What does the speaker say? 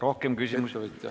Rohkem küsimusi ...